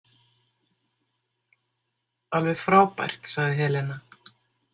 Alveg frábært, sagði Helena.